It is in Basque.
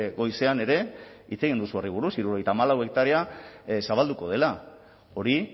goizean ere hitz egin duzu horri buruz hirurogeita hamalau hektarea zabalduko dela hori